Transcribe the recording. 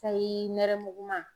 Sayi nɛrɛmuguma